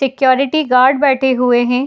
Security guards बैठे हुए है।